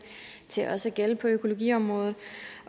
til også at gælde på økologiområdet